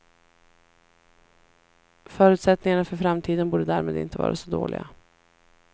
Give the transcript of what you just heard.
Förutsättningarna för framtiden borde därmed inte vara så dåliga.